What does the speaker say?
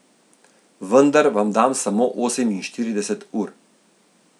Vendar vam dam samo oseminštirideset ur.